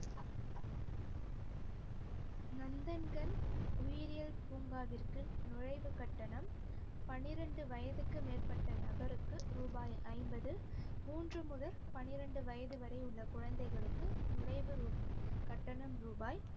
நந்தன்கன் உயிரியல் பூங்காவிற்கு நுழைவுக் கட்டணம் பன்னிரெண்டு வயதுக்கு மேற்பட்ட நபருளுக்கு ரூபாய் ஐம்பது மூன்று முதல் பன்னிரெண்டு வயது வரை உள்ள குழந்தைகளுக்கு நுழைவு ரூ~ கட்டணம் ரூபாய்